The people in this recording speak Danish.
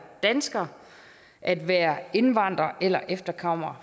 dansker at være indvandrer eller efterkommer